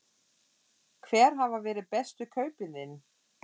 Hver hafa verið bestu kaupin þín?